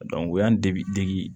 o y'an dege dege